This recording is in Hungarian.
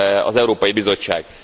az Európai Bizottság.